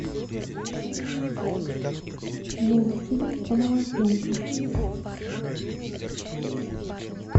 мультфильм про мамонтенка